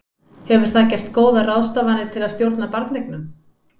Hefur það gert góðar ráðstafanir til að stjórna barneignum?